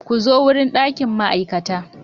Ku zo wurin ɗakin ma'aikata.